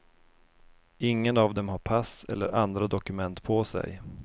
Ingen av dem har pass eller andra dokument på sig.